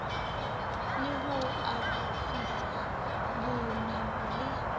le ho akofisa bonamo le